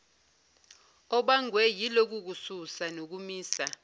obangwe yilokukususa nokumisa